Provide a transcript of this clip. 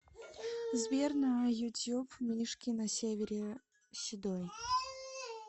сбер на ютьюб мишки на севере седой